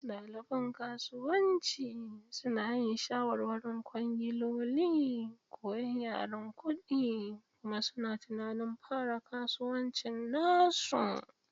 Ɗaliban kasuwanci suna yin shawarwarin kwangiloli, koyan yaren kuɗi, kuma suna tunanin fara kasuwancin nasu.